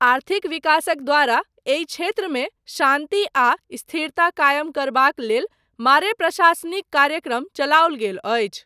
आर्थिक विकासक द्वारा एहि क्षेत्रमे शान्ति आ स्थिरता कायम करबाक लेल मारे प्रशासनिक कार्यक्रम चलाओल गेल अछि।